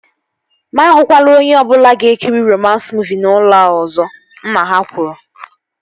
Mụ ahụkwala onye ọbụla ga-ekiri romans muuvi n'ụlọ a ọzọ! Nna ha kwuru